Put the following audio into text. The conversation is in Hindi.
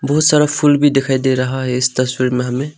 बहुत सारा फूल भी दिखाई दे रहा है इस तस्वीर में हमें।